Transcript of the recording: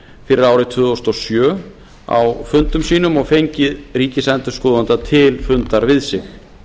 fyrir árið tvö þúsund og sjö á fundum sínum og fengið ríkisendurskoðanda til fundar við sig